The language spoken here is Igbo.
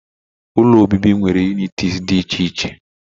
Ụlọ obibi nwere unịtịz dị iche iche.